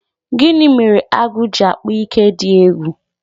Gini mere agụ ji akpa ike dị egwu?